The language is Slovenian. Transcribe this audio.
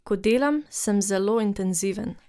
Ko delam, sem zelo intenziven.